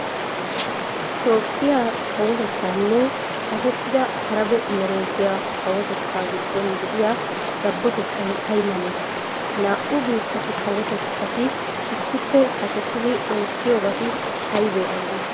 Toophphiya kawotettaanne hashetida arabe imereetiya kawotettaa giddon de'iya dabbotettay ay male? Ha naa"u biittatu kawotetatti issippe hashetidi oottiyibati aybee aybee?